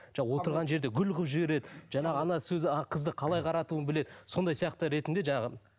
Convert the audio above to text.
отырған жерде гүл қылып жібереді жаңағы сөзі қызды қалай қаратуын біледі сондай сияқты ретінде жаңағы